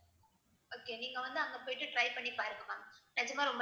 okay நீங்க வந்து அங்க போயிட்டு try பண்ணி பாருங்க ma'am நிஜமா ரொம்ப